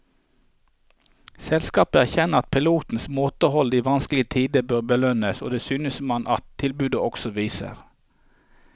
Selskapet erkjenner at pilotenes måtehold i vanskelige tider bør belønnes, og det synes man at tilbudet også viser.